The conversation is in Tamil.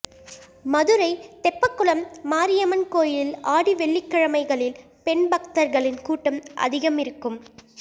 மதுரை தெப்பக்குளம் மாரியம்மன் கோயிலில் ஆடி வெள்ளிக்கிழமைகளில் பெண் பக்தா்களின் கூட்டம் அதிகமிருக்கும்